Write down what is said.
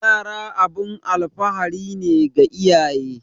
Yara abun alfahari ne ga iyaye